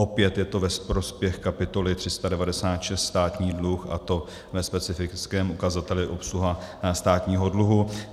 Opět je to ve prospěch kapitoly 396 Státní dluh, a to ve specifickém ukazateli obsluha státního dluhu.